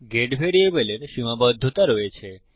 gate ভ্যারিয়েবলের সীমাবদ্ধতা রয়েছে